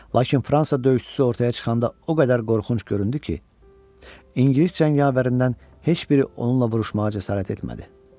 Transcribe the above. Lakin Fransa döyüşçüsü ortaya çıxanda o qədər qorxunc göründü ki, İngilis cəngavərindən heç biri onunla vuruşmağa cəsarət etmədi.